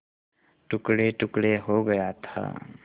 टुकड़ेटुकड़े हो गया था